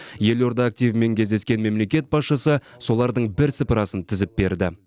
елорда активімен кездескен мемлекет басшысы солардың бір сыпырасын тізіп берді